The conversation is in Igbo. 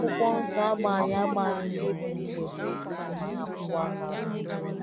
akwụkwọ nsọ- agba anyị agba anyị ume ịbụ ndị na - ekwu eziokwu ma na - akwụwa aka ọtọ.